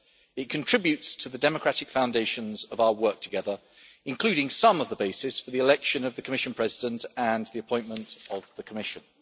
It contributes to the democratic foundations of our work together, including some of the bases for the election of the Commission President and the appointment of the Commission.